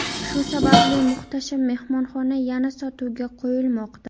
Shu sababli muhtasham mehmonxona yana sotuvga qo‘yilmoqda.